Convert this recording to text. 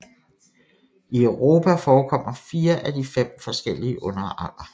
I Europa forekommer 4 af de 5 forskellige underarter